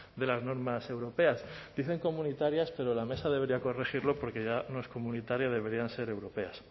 de las normas europeas dicen comunitarias pero la mesa debería corregirlo porque ya no es comunitaria deberían ser europeas